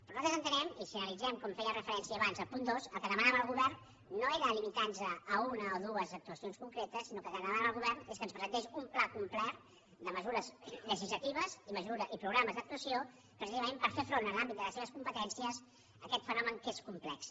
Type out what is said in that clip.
però nosaltres entenem i si analitzem com hi feia referència abans el punt dos que el que demanàvem al govern no era limitar nos a una o dues actuacions concretes sinó que el que demanàvem al govern és que ens presentés un pla complert de mesures legislatives i programes d’actuació precisament per fer front en l’àmbit de les seves competències a aquest fenomen que és complex